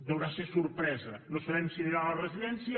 deurà ser sorpresa no sabem si anirà a la residència